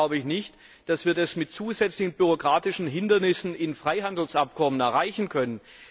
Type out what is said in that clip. Allerdings glaube ich nicht, dass wir das mit zusätzlichen bürokratischen Hindernissen in Freihandelsabkommen erreichen können.